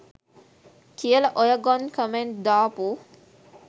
කියල ඔය ගොන් කමෙන්ඩ් දාපු